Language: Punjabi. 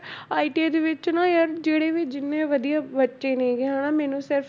ITI ਦੇ ਵਿੱਚ ਨਾ ਯਾਰ ਜਿਹੜੇ ਵੀ ਜਿੰਨੇ ਵਧੀਆ ਬੱਚੇ ਨੇਗੇ ਹਨਾ ਮੈਨੂੰ ਸਿਰਫ਼,